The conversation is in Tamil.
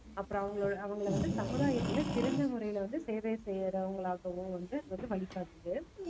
அப்புறம் அவங்களை அவங்களை வந்து சமுதாயத்துல சிறந்த முறையில வந்து சேவை செய்யறவங்களாகவும் வந்து வந்து வழிகாட்டுது